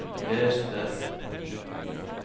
les det